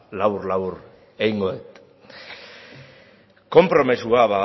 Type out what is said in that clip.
labur labur egingo dut konpromezua